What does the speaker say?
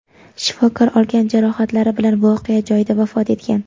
Shifokor olgan jarohatlari bilan voqea joyida vafot etgan.